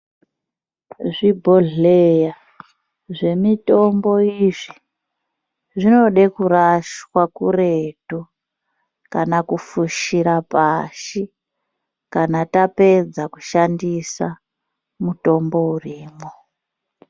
Zvibhodhlera zvemitombo izvi zvinoda kurashwa kuretu kana kufushira pashi kana tapedza kushandisa mutombo urimo .